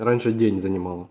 раньше день занимало